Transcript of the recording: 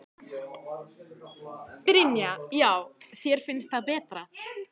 Brynja: Já þér finnst það betra?